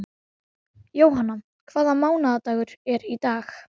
Jóanna, hvaða mánaðardagur er í dag?